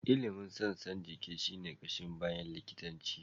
Ilimin sassan jiki shi ne ƙashin baya likitanci.